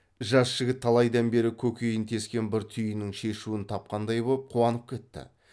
жас жігіт талайдан бері көкейін тескен бір түйіннің шешуін тапқандай боп қуанып кетті